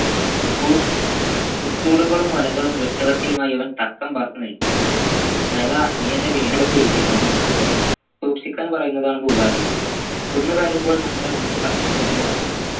കു കുത്തൂടകളും വലകളും വെട്ടുകത്തിയുമായി അവൻ തക്കംപാർത്തു നിൽക്കും അഴകാ നീ എന്നെ വീണ്ടും പേടിപ്പിക്കുന്നു സൂക്ഷിക്കാൻ പറയുന്നതാണ് പൂവാലി കുന്നു കയറുമ്പോൾ നമ്മുടെ ഉൾകണ്ണും തുറന്നു വെക്കണം